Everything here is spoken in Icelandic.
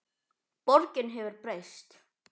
Borgin hefur breyst.